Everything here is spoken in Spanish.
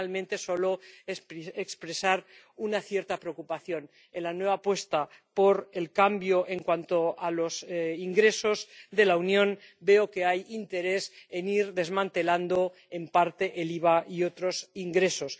Y, finalmente, deseo solo expresar una cierta preocupación. En la nueva apuesta por el cambio en cuanto a los ingresos de la Unión, veo que hay interés en ir desmantelando en parte el IVA y otros ingresos.